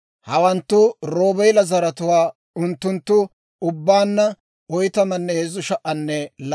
Hawanttu Roobeela zaratuwaa; unttunttu ubbaanna 43,730.